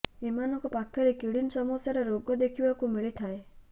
ଏମାନଙ୍କ ପାଖରେ କିଡ୍ନୀ ସମସ୍ୟା ର ରୋଗ ଦେଖି ବାକୁ ମିଳି ଥାଏ